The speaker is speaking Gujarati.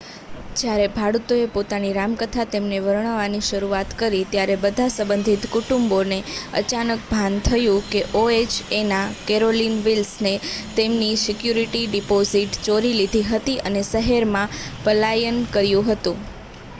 જ્યારે ભાડૂતોએ પોતાની રામકથા તેમને વર્ણવવાની શરૂઆત કરી ત્યારે બધાં સંબંધિત કુટુંબોને અચાનક ભાન થયું કે ઓએચએના કેરોલિન વિલ્સને તેમની સિક્યુરિટી ડિપોઝિટો ચોરી લીધી હતી અને શહેરમાંથી પલાયન કર્યું હતું